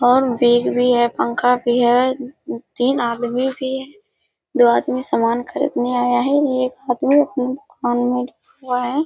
और बेग भी है पंखा भी है तीन आदमी भी है दो आदमी सामान खरीदने आया है एक आदमी